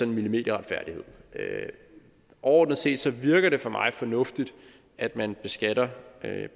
millimeterretfærdighed overordnet set virker det for mig fornuftigt at man beskatter